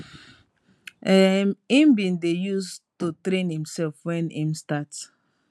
um im bin dey use to train imsef wen im start